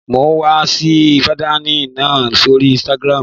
Mo was fi dìsáìnì náà sóri ínstágrámù